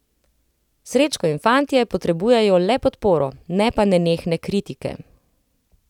Srečko in fantje potrebujejo le podporo, ne pa nenehne kritike.